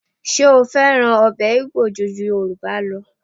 Ṣé ó fẹ́ràn ọbẹ̀ Igbo ju Yorùbá lọ?